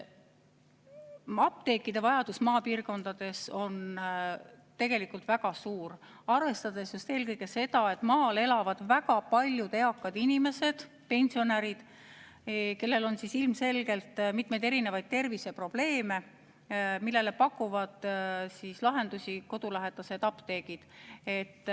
Vajadus apteekide järele on maapiirkondades tegelikult väga suur, arvestades just eelkõige seda, et maal elab väga palju eakaid inimesi, pensionäre, kellel on ilmselgelt terviseprobleeme, millele pakuvad lahendusi kodulähedased apteegid.